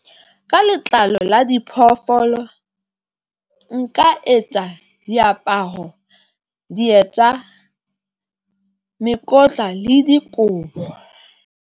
Ka letlalo la diphoofolo nka etsa diaparo, dieta mekotla le dikobo.